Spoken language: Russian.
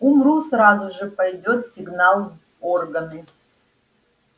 умру сразу же пойдёт сигнал в органы